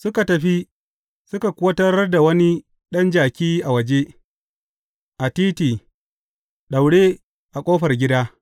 Suka tafi, suka kuwa tarar da wani ɗan jaki a waje, a titi, daure a ƙofar gida.